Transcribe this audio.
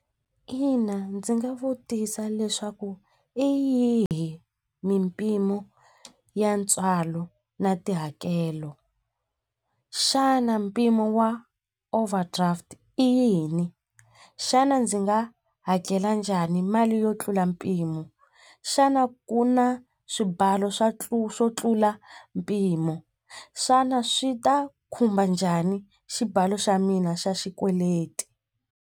Ina ndzi nga vutisa leswaku i yihi mimpimo ya ntswalo na tihakelo xana mpimo wa overdraft i yini xana ndzi nga hakela njhani mali yo tlula mpimo xana ku na swibalo swa tlula swo tlula mpimo xana swi ta khumba njhani xibalo xa mina xa xikweleti.